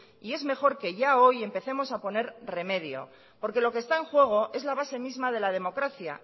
y es mejor que ya hoy empecemos a poner remedio porque lo que está en juego es la base misma de la democracia